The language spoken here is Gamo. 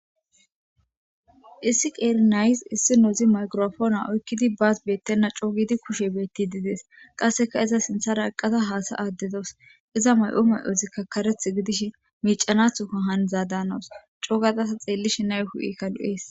Issi qeeri nayeyssi issinozi maygirapoone oyqqidi baas beetena coo giidi kushey beettidi dees. Qasseka iza sinththara eqqada haasa'ada dawus. Iza mayi'o mayozikka karaeththi gidishin miiccanaththo hanizada hanosona. Coo gaada ta xeellishin nayi hu'eykka lo'es.